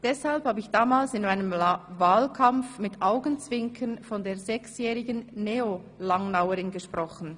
Deshalb habe ich damals in meinem Wahlkampf mit Augenzwinkern von der ‹6-jährigen NeoLangnauerin› gesprochen.